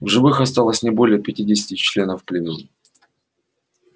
в живых осталось не более пятидесяти членов племён